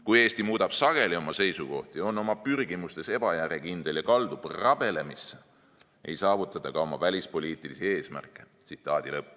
Kui Eesti muudab sageli oma seisukohti, on oma pürgimustes ebajärjekindel ja kaldub rabelemisse, ei saavuta ta ka oma välispoliitilisi sihtmärke.